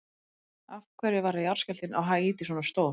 Af hverju varð jarðskjálftinn á Haítí svona stór?